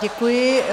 Děkuji.